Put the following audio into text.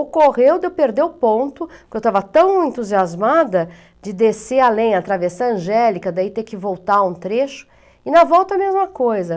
Ocorreu de eu perder o ponto, porque eu estava tão entusiasmada de descer a lenha, a Travessã Angélica, daí ter que voltar um trecho, e na volta a mesma coisa.